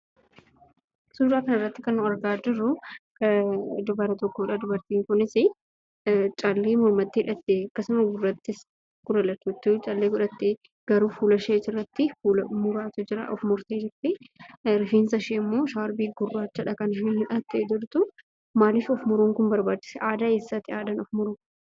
Suuraa kanarratti kan nuti argaa jirru dubara tokkodha. Dubartiin kunis callee mormatti hidhattee akkasumas gurra lachuuttuu callee godhattee garuu fuulasheetirratti fuula muraatu jiraa. Rifeensa isheemmoo shaarbii gurraachadhaan kan isheen hidhattee jirtu. Maaliif of muruun kun barbaachisee aadaa eessaadha of muruun kun?